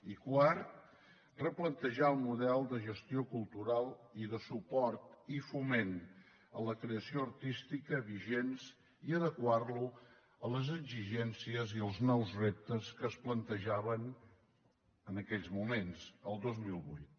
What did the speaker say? i quart replantejar el model de gestió cultural i de suport i foment a la creació artística vigents i adequar lo a les exigències i els nous reptes que es plantejaven en aquells moments el dos mil vuit